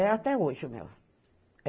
É até hoje o meu.